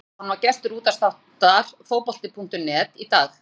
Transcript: Heimir Guðjónsson var gestur útvarpsþáttar Fótbolta.net í dag.